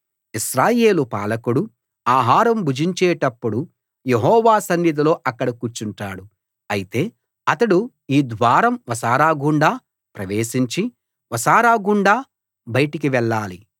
ఇశ్రాయేలు పాలకుడు ఆహారం భుజించేటప్పుడు యెహోవా సన్నిధిలో అక్కడ కూర్చుంటాడు అయితే అతడు ఈ ద్వారం వసారాగుండా ప్రవేశించి వసారా గుండా బయటికి వెళ్ళాలి